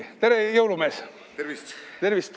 Tere, jõulumees!